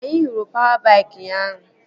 Anyị hụrụ pawa baik ụnyaahụ